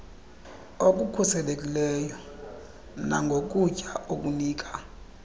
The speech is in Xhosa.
okukhuselekilyo nangokutya okunika